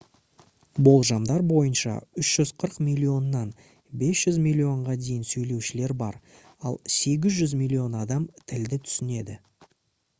болжамдар бойынша 340 миллионнан 500 миллионға дейін сөйлеушілер бар ал 800 миллион адам тілді түсінеді